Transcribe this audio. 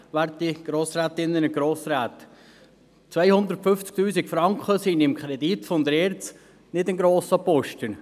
250 000 Franken sind im Kredit der ERZ kein grosser Posten.